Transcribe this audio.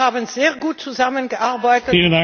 Wir haben sehr gut zusammengearbeitet.